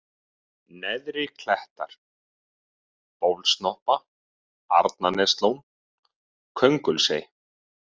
Neðri-Klettar, Bólssnoppa, Arnaneslón, Köngulsey